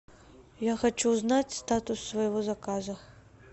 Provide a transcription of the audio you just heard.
я хочу узнать статус своего заказа